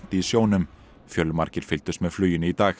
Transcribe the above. í sjónum fjölmargir fylgdust með fluginu í dag